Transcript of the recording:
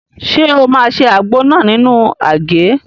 Ṣé o máa se àgbo náà nínú àgé?